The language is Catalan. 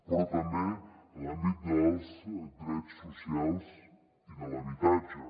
però també en l’àmbit dels drets socials i de l’habitatge